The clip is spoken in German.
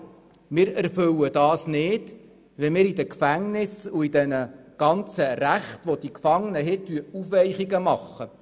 Aber wir erfüllen es nicht, wenn wir in den Gefängnissen und bei den Rechten der Gefangenen Aufweichungen vornehmen.